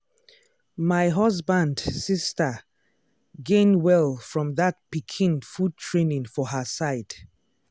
my husband sister gain well from that pikin food training for her side.